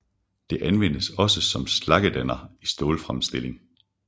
Det anvendes også som slaggedanner i stålfremstilling